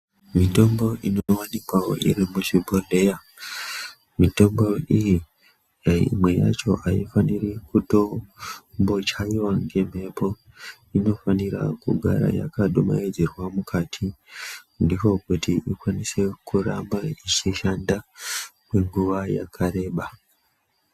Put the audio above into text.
Mitombo inowanikawo iri muzvibhodhleya , mitombo iyi ,imwe yacho aifaniri kutombochaiwa ngemphepo. Inofanira kugara yakadumaidzirwa mukati. Ndiko kuti ikwanise kuramba ichishanda kwenguva yakareba.